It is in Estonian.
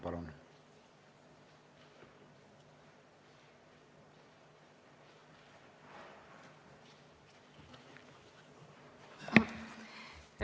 Palun!